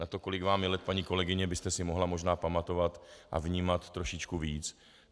Na to, kolik je vám let, paní kolegyně, byste si mohla možná pamatovat a vnímat trošičku víc.